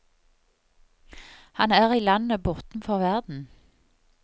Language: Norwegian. Han er i landet bortenfor verden.